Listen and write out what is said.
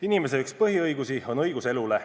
Inimese üks põhiõigusi on õigus elule.